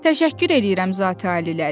Təşəkkür eləyirəm zati aliləri.